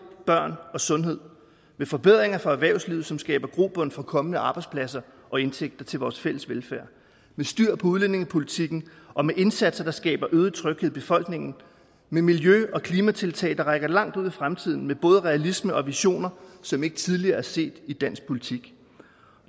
børn og sundhed med forbedringer for erhvervslivet som skaber grobund for kommende arbejdspladser og indtægter til vores fælles velfærd med styr på udlændingepolitikken og med indsatser der skaber øget tryghed i befolkningen med miljø og klimatiltag der rækker langt ud i fremtiden med både realisme og visioner som ikke tidligere er set i dansk politik